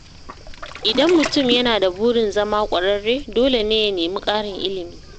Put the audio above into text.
Idan mutum yana da burin zama ƙwararre, dole ne ya nemi ƙarin ilimi.